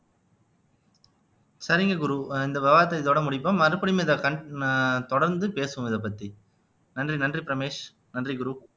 சரிங்க குரு இந்த விவாதத்தை இதோட முடிப்போம் மறுபடியும் இதை con ஆஹ் தொடர்ந்து பேசுவோம் இதை பத்தி நன்றி நன்றி ரமேஷ் நன்றி குரு